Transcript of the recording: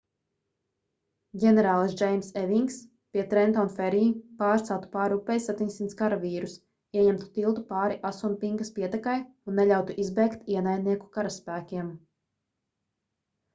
ģenerālis džeims evings pie trenton ferry pārceltu pāri upei 700 karavīrus ieņemtu tiltu pāri asunpinkas pietekai un neļautu izbēgt ienaidnieku karaspēkiem